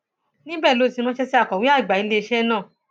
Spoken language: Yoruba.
níbẹ ló ti ránṣẹ sí akọwé àgbà iléeṣẹ náà